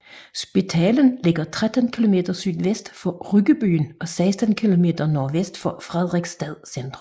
Spetalen ligger 13 kilometer sydvest for Ryggebyen og 16 kilometer nordvest for Fredrikstad centrum